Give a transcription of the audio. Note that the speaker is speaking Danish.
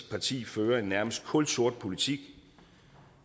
parti fører en nærmest kulsort politik